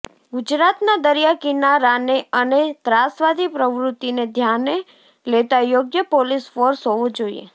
ગુજરાતના દરિયા કિનારાને અને ત્રાસવાદી પ્રવૃતિને ધ્યાને લેતા યોગ્ય પોલીસ ફોર્સ હોવો જોઇએ